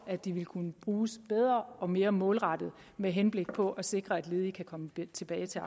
de vil kunne bruges bedre og mere målrettet med henblik på at sikre at ledige kan komme tilbage til